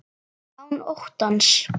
Án óttans.